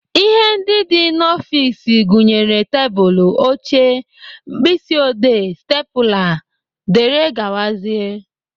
Ihe ndị dị n'ọfiks gụnyere tebụlụ, oche, mkpịsị odee, stepụla, dgz.